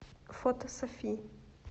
фото софи